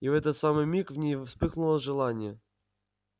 и в этот самый миг в ней вспыхнуло желание